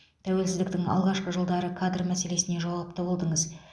тәуелсіздіктің алғашқы жылдары кадр мәселесіне жауапты болдыңыз